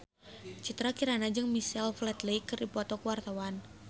Citra Kirana jeung Michael Flatley keur dipoto ku wartawan